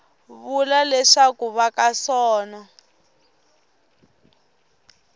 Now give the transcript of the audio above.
vula leswaku va ka sono